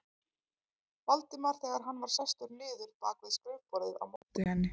Valdimar þegar hann var sestur niður bak við skrifborðið á móti henni.